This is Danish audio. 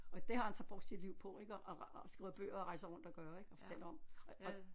Og det har han så brugt sit liv på ik og og skriver bøger og rejser rundt at gøre ik og fortæller om og